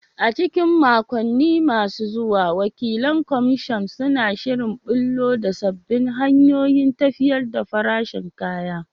A cikin makonni masu zuwa, wakilan kamasho suna shirin ɓullo da sabbin hanyoyin tafiyar da farashin kaya.